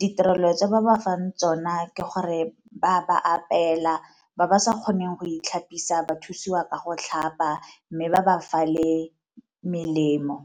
Ditirelo tsa ba ba fang tsona ke gore ba ba apeela ba ba sa kgoneng go itlhapisa ba thusiwa ka go tlhapa mme ba ba fa le melemo.